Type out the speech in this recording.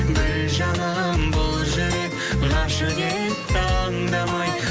біл жаным бұл жүрек ғашық етті аңдамай